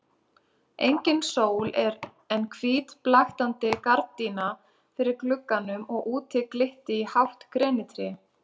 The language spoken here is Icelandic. Engin sól en hvít blaktandi gardína fyrir glugganum og úti glitti í hátt grenitré.